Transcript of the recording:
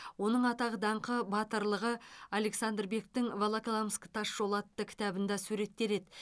оның атақ даңқы батырлығы александр бектің волоколамск тас жолы атты кітабында суреттеледі